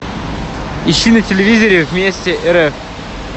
ищи на телевизоре вместе рф